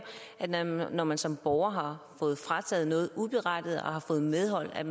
at man når man som borger har noget frataget uberettiget og har fået medhold